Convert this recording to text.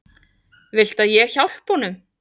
Viltu að ég hjálpi honum?